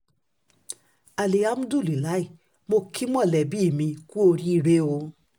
alihamudulila mọ̀ kí mọ̀lẹ́bí mi kú oríire o